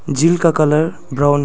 झील का colour brown --